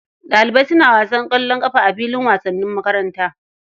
Ɗalibai suna wasan ƙwallon ƙafa a filin wasanni na makaranta.